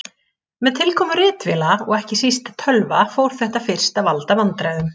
Með tilkomu ritvéla og ekki síst tölva fór þetta fyrst að valda vandræðum.